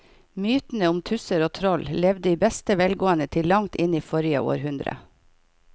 Mytene om tusser og troll levde i beste velgående til langt inn i forrige århundre.